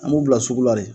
An b'u bila sugu la de